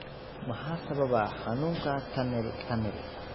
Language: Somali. Maxaa sababa xanuunka tunnel tunnel?